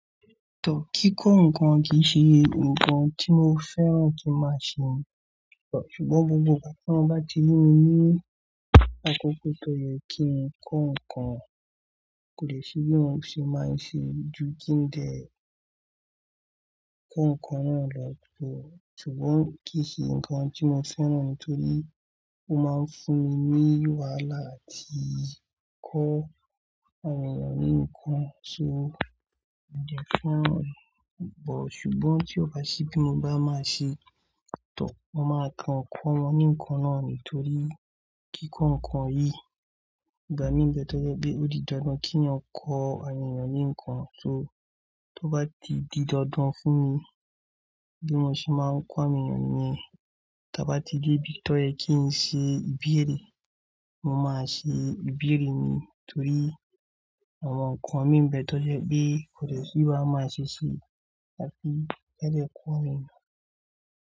Tọ́ kí kọ́ nǹkan kì í ṣe nǹkan tí mo fẹ́ràn kí máa ṣe. Ṣùgbọ́n gbogbo kan tí wọ́n bá ti ní mí ní àkókò tó yẹ kí n kọ́ nǹkan, kò lè ṣe bí mo ṣe máa ń ṣe ju kí n dẹ kọ́ nǹkan náà lọ. Ṣùgbọ́n kì í ṣe nǹkan tí mo fẹ́ràn nítorí ó máa ń fún mi ní wàhálà àti kọ́ àwọn ènìyàn ní nǹkan. So, mo dẹ̀ fe ran. Ṣùgbọ́n tí ó bá se bí mo bá máa ṣe tán, mo máa tan ọ̀kọ̀ wọn ní nǹkan náà nítorí kí kọ́ nǹkan yìí gba mi ní ìbẹ́ tó jẹ́ pé ó di dandan kí wọn kọ́ àwọn ènìyàn ní nǹkan. So, tó bá ti di dandan fún mi bí mo ṣe máa ń kọ́ àwọn ènìyàn niyen, ta bá ti dé ibi tó yẹ kí n ṣe ìbẹ́rẹ́, mo máa ṣe ìbẹ́rẹ́ mi nítorí àwọn nǹkan mi ń bẹ tó jẹ́ pé kò lè ṣe bá máa ṣèṣe láti jáde kọ́ àwọn ènìyàn.